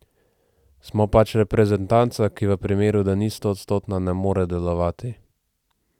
Smo pač reprezentanca, ki v primeru, da ni stoodstotna, ne more delovati.